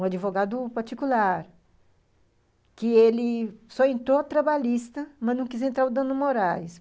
Um advogado particular, que ele... só entrou trabalhista, mas não quis entrar o dano morais.